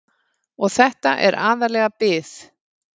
Og þetta er aðallega bið.